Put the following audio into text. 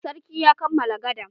Sarkin ya kammala gadan.